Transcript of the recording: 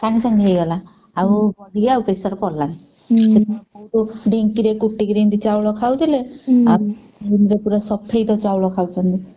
ସାଙ୍ଗେସାଙ୍ଗ ହେଇଗଲା ଆଉ body କୁ ବି pressure ପଡିଲାନି। ଢ଼ିଙ୍କିରେ କୁଟିକିରି ଏମିତି ଚାଉଳ ଖାଉଥିଲେ ରେ ପୁରା ସଫେଦ ଚାଉଳ ଖାଉଛନ୍ତି।